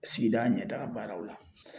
Sigida ɲɛtaa baaraw la